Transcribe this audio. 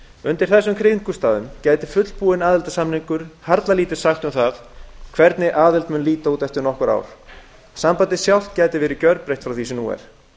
undir þessum kringumstæðum gæti fullbúinn aðildarsamningur harla lítið sagt um það hvernig aðild mun líta út eftir nokkur ár sambandið sjálft gæti verið gjörbreytt frá því sem nú er